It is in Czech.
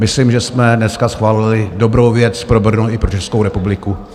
Myslím, že jsme dneska schválili dobrou věc pro Brno i pro Českou republiku.